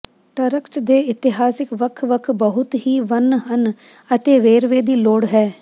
ਟਰ੍ਕ੍ਚ ਦੇ ਇਤਿਹਾਸਕ ਵੱਖ ਵੱਖ ਬਹੁਤ ਹੀ ਵੰਨ ਹਨ ਅਤੇ ਵੇਰਵੇ ਦੀ ਲੋੜ ਹੈ